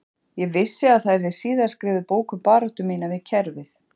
Ég vissi að það yrði síðar skrifuð bók um baráttu mína við kerfið